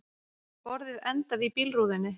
Borðið endaði í bílrúðunni